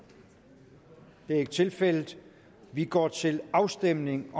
det er ikke tilfældet vi går til afstemning